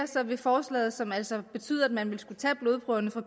vil forslaget som altså betyder at man vil skulle tage blodprøverne fra